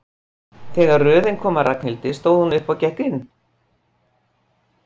Þegar röðin kom að Ragnhildi stóð hún upp og gekk inn.